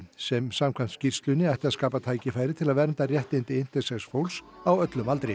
sem samkvæmt skýrslunni ætti að skapa tækifæri til að vernda réttindi intersex fólks á öllum aldri